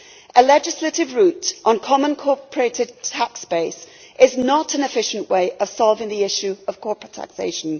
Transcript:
A legislative route on the common corporate tax base is not an efficient way of solving the issue of corporate taxation.